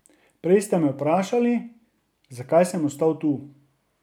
Prej ste me vprašali, zakaj sem ostal tu.